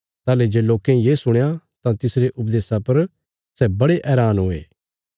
ताहली जे लोकें ये सुणया तां तिसरे उपदेशा पर सै बड़े हैरान हुये